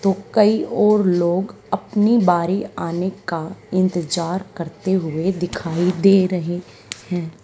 तो कई और लोग अपनी बारी आने का इंतजार करते हुए दिखाई दे रहे हैं।